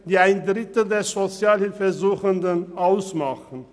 sie machen einen Drittel der Sozialhilfesuchenden aus.